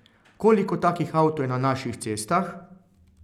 Koliko takih avtov je na naših cestah?